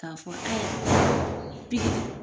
K'a fɔ aya